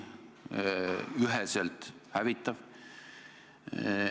Hinnang on üheselt hävitav.